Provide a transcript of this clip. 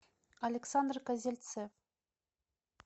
александр козельцев